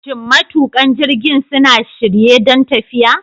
Shin matuƙan jirgin suna shirye don tafiya?